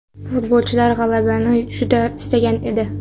Futbolchilar g‘alabani juda istagan edi.